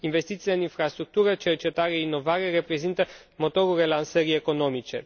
Investițiile în infrastructură, cercetare, inovare, reprezintă motorul relansării economice.